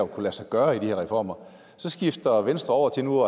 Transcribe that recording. kunne lade sig gøre i de her reformer så skifter venstre over til nu